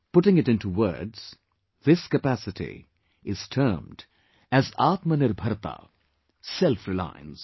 Putting it into words...this capacity is termed as "Atmanirbharta" Self Reliance